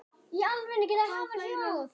Hvað fleira?